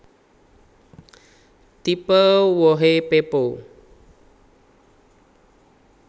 Tipe wohé pepo